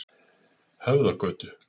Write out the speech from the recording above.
Höfðagötu